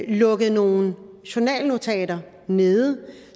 lukket nogle journalnotater ned